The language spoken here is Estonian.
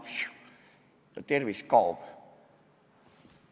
Siuh, ja tervis kaob!